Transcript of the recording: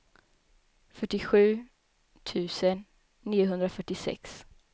fyrtiosju tusen niohundrafyrtiosex